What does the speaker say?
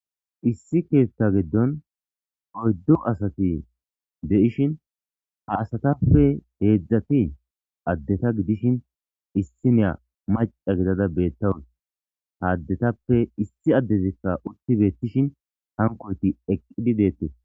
Issi keetta giddon oyddu asati de7ishin ha asatappe heedzdzati addeta gidishin issi neya maca gidada beettawun ha addetappe issi addezikka utti beettishin hankoyti eqqidi deettee